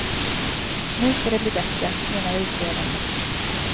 Nu ska det bli bättre, menar utredarna.